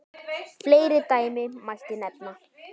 Fleiri dæmi mætti nefna.